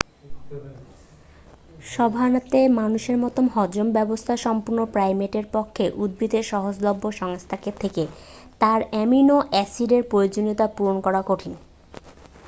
সাভানাতে মানুষের মতো হজম ব্যবস্থা সম্পন্ন প্রাইমেটের পক্ষে উদ্ভিদের সহজলভ্য সংস্থান থেকে তার অ্যামিনো-অ্যাসিডের প্রয়োজনীয়তা পূরণ করা কঠিন